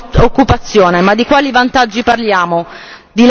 Di lavoro precario, di lavoro senza diritti.